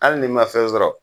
Ali n'i ma fɛn sɔrɔ